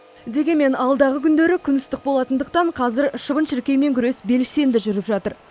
дегенмен алдағы күндері күн ыстық болатындықтан қазір шыбын шіркеймен күрес белсенді жүріп жатыр